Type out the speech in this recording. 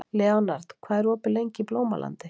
Leonhard, hvað er opið lengi í Blómalandi?